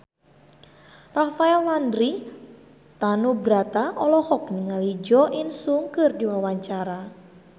Rafael Landry Tanubrata olohok ningali Jo In Sung keur diwawancara